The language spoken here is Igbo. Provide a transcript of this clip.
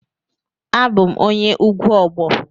Abum onye ugwu Ogbo.